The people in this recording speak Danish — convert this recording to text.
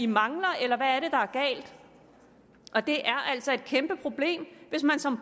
mangler eller hvad er det der er galt det er altså et kæmpe problem hvis man som